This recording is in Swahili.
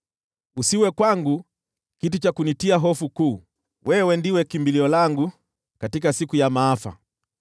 Usiwe kwangu kitu cha kunitia hofu kuu; wewe ndiwe kimbilio langu katika siku ya maafa.